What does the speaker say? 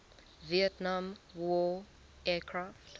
vietnam war aircraft